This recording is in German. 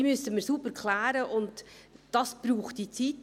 Diese müssen wir sauber klären, und das braucht diese Zeit.